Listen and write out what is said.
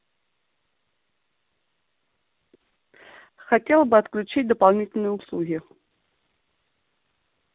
хотел бы отключить дополнительные услуги